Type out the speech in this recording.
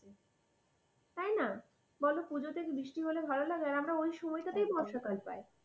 তাই না? বল পূজোতে বৃষ্টি হলে ভালো লাগে? আর আমরা ওই সময়টাতেই বর্ষাকাল পাই।